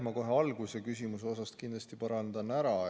Ma kohe alguses parandan kindlasti osa küsimusest ära.